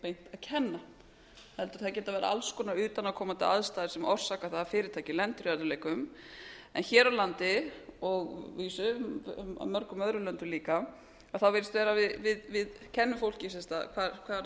beint að kenna heldur geta það verið alls konar utanaðkomandi aðstæður sem orsaka það að fyrirtæki lendi í erfiðleikum hér á landi og að vísu í mörgum öðrum löndum líka virðist vera að við kennum fólki sem sagt hvar þú átt að